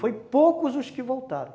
Foi poucos os que voltaram.